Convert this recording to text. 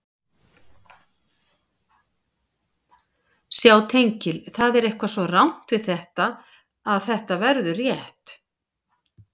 Sjá tengil Það er eitthvað svo rangt við þetta að þetta verður rétt.